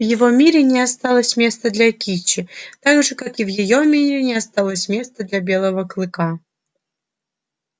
в его мире не осталось места для кичи так же как и в её мире не осталось места для белого клыка